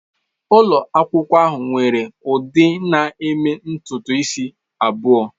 Ụlọ akwụkwọ ahụ nwere ndị na-eme ntutu isi abụọ.